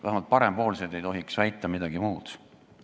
Vähemalt parempoolsed ei tohiks väita midagi muud.